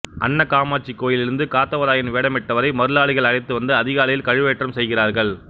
அன்னகாமாட்சி கோயிலிருந்து காத்தவராயன் வேடமிட்டவரை மருளாளிகள் அழைத்து வந்து அதிகாலையில் கழுவேற்றம் செய்கிறார்கள்